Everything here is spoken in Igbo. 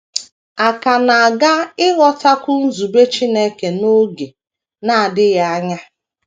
A ka na - aga ịghọtakwu nzube Chineke n’oge na - adịghị anya.